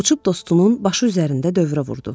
Uçub dostunun başı üzərində dövrə vurdu.